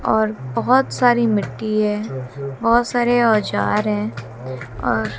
और बहुत सारी मिट्टी है बहुत सारे औजार हैं और --